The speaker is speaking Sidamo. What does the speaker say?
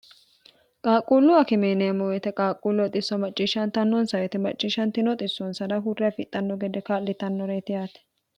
qaaqquullu akimineemo yite qaaqquulluoxisso macciishshantannonsawite macciishshantinooxissoonsada hurre afixxanno gede kaa'litannore yiti haate